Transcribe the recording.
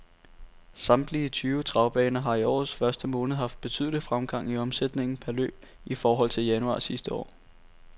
Samtlige syv travbaner har i årets første måned haft betydelig fremgang i omsætningen per løb i forhold til januar sidste år.